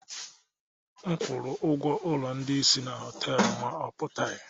M kwụrụ ụgwọ ụlọ ndị isi na họtel, ma ọ pụtaghị